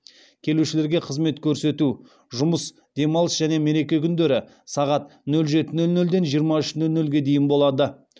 келушілерге қызмет көрсету жұмыс демалыс және мереке күндері сағат нөл жеті нөл нөлден жиырма үш нөл нөлге дейін болады